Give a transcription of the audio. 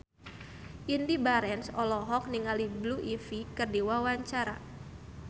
Indy Barens olohok ningali Blue Ivy keur diwawancara